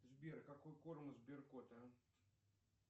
сбер какой корм у сберкота